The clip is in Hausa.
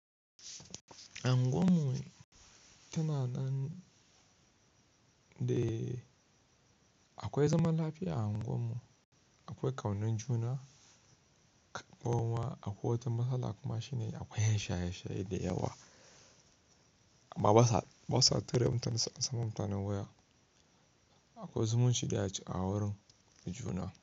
Anguwan mu tana nan de akwai zaman lafiya a anguwan mu, akwai ƙaunan juna, kuma akwai wata matsala kuma shine akwai yan shaye-shaye da yawa, amma ba sa, ba sa ture mutane, su amsan ma mutane waya. Akwai zumunci dai a wurin da juna.